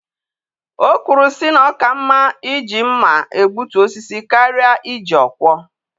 O kwuru sị na ọ ka mma iji mmá egbutu osisi karịa iji ọkwọ